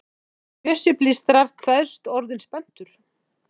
Bjössi blístrar, kveðst orðinn spenntur.